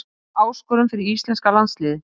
Mikil áskorun fyrir íslenska landsliðið